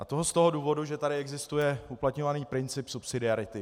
A to z toho důvodu, že tady existuje uplatňovaný princip subsidiarity.